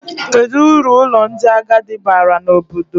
Kedụ uru ụlọ ndị agadi baara n'obodo?